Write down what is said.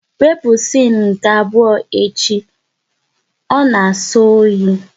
Wepụ siene nke abụọ echi, ọ na na-asọ oyi!